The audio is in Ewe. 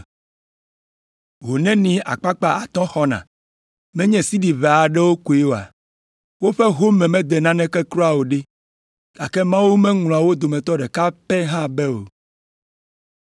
“Ho neni akpakpa atɔ̃ xɔna? Menye sidi ʋɛ aɖe koe oa? Woƒe home mede naneke kura o ɖe? Gake Mawu meŋlɔa wo dometɔ ɖeka pɛ hã be o.